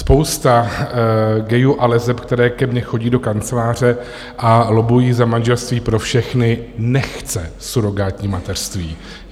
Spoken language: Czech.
Spousta gayů a leseb, které ke mně chodí do kanceláře a lobbují za manželství pro všechny, nechce surogátní mateřství.